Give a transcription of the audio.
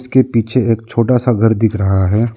इस के पीछे एक छोटा सा घर दिख रहा है।